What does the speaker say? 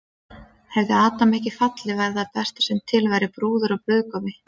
Og hefði Adam ekki fallið væri það besta sem til væri, brúður og brúðgumi.